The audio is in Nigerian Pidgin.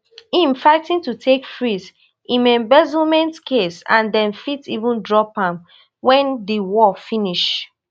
im fighting to take freeze im embezzlement case and dem fit even drop am wen di war finish